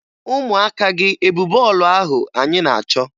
Ụmụaka gị e bu bọọlụ ahụ anyị na-achọ?